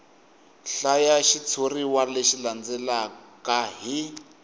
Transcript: hlaya xitshuriwa lexi landzelaka hi